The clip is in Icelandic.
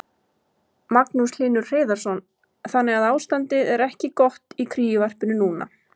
Magnús Hlynur Hreiðarsson: Þannig að ástandið er ekki gott í kríuvarpinu núna?